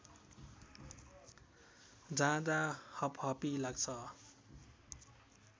जाँदा हपहपी लाग्छ